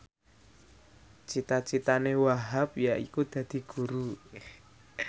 cita citane Wahhab yaiku dadi guru